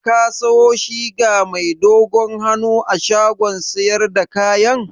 Ka siyo shiga mai dogon hannun a shagon siyar da kayan?